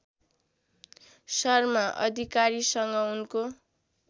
शर्मा अधिकारीसँग उनको